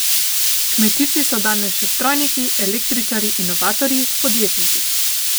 Kmetijci so danes še strojniki, električarji, inovatorji, podjetniki.